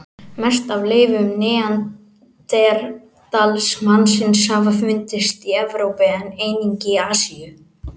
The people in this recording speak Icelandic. Mest af leifum neanderdalsmannsins hafa fundist í Evrópu en einnig í Asíu.